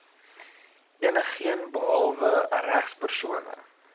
enigeen behalwe regspersone